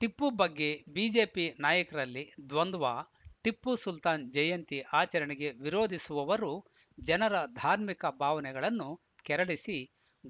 ಟಿಪ್ಪು ಬಗ್ಗೆ ಬಿಜೆಪಿ ನಾಯಕರಲ್ಲಿ ದ್ವಂದ್ವ ಟಿಪ್ಪು ಸುಲ್ತಾನ್‌ ಜಯಂತಿ ಆಚರಣೆಗೆ ವಿರೋಧಿಸುವವರು ಜನರ ಧಾರ್ಮಿಕ ಭಾವನೆಗಳನ್ನು ಕೆರಳಿಸಿ